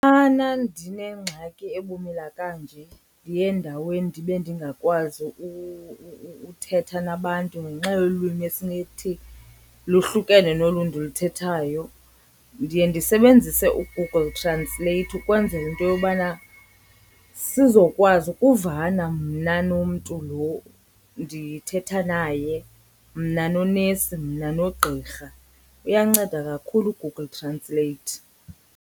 Xana ndinengxaki ebumila kanje ndiye endaweni ndibe ndingakwazi uthetha nabantu ngenxa yolwimi esinothi lohlukane nolu ndiluthethayo, ndiye ndisebenzise uGoogle Translate ukwenzela into yobana sizokwazi ukuvana mna nomntu lo ndithetha naye, mna nonesi, mna nogqirha. Uyanceda kakhulu uGoogle Translate.